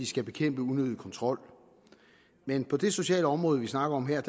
skal bekæmpe unødig kontrol men på det sociale område vi snakker om her